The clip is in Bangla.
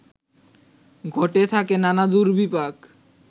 ঘটে থাকে নানা দুর্বিপাক